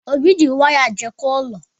Obi ji waya jikọọ ụlọ.